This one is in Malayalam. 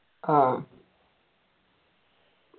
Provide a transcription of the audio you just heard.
ആഹ്